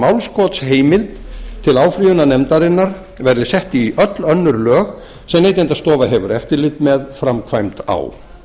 málskotsheimild til áfrýjunarnefndarinnar verði sett í öll önnur lög sem neytendastofa hefur eftirlit með framkvæmd á